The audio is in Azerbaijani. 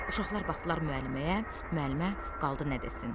Uşaqlar baxdılar müəlliməyə, müəllimə qaldı nə desin.